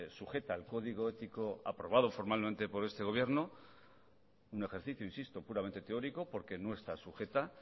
sujeta al código ético aprobado formalmente por este gobierno un ejercicio insisto puramente teórico porque no está sujeta